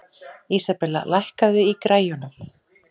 Isabella, lækkaðu í græjunum.